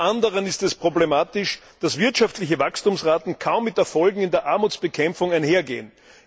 Zum anderen ist es problematisch, dass wirtschaftliche Wachstumsraten kaum mit Erfolgen in der Armutsbekämpfung einhergehen.